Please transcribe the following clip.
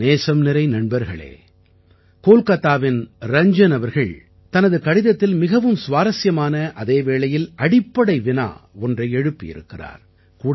என் நேசம்நிறை நண்பர்களே கோல்காத்தாவின் ரஞ்ஜன் அவர்கள் தனது கடிதத்தில் மிகவும் சுவாரசியமான அதே வேளையில் அடிப்படை வினா ஒன்றை எழுப்பி இருக்கிறார்